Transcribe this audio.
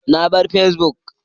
Na bar Facebook